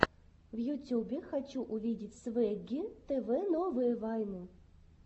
в ютюбе хочу увидеть свегги тв новые вайны